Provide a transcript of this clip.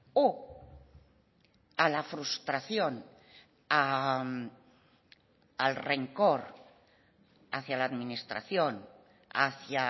o a la frustración al rencor hacia a la administración hacia